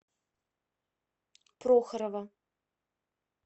прохорова